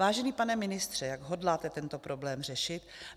Vážený pane ministře, jak hodláte tento problém řešit?